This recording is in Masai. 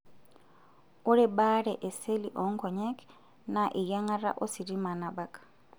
Ore baare e seli oonkonyek naa eyiangata ositima nabak.